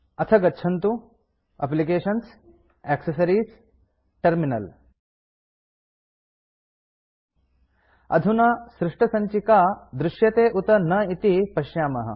अथ गच्छन्तु एप्लिकेशन्ग्टैक्सेस अधुना सृष्टसञ्चिका दृश्यते उत न इति पश्यामः